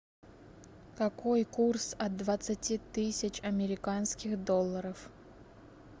какой курс от двадцати тысяч американских долларов